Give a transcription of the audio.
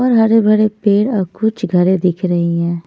और हरे भरे पेड़ और कुछ घरे दिख रही है।